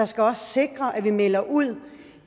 skal også sikre at vi melder ud